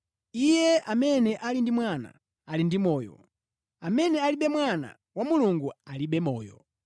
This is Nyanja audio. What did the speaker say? Iye amene ali ndi Mwana ali ndi moyo, amene alibe Mwana wa Mulungu alibe moyo.